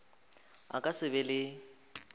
a ka se be le